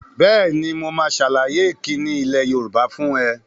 Bẹ́ẹ̀ni, mo máa sàlàyé ìkíni ilẹ̀ Yorùbá fún ẹ